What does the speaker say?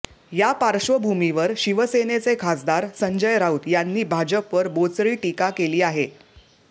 यापार्श्वभूमीवर शिवसेनेचे खासदार संजय राऊत यांनी भाजपवर बोचरी टीका केली आहे